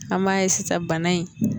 An b'a ye sisan bana in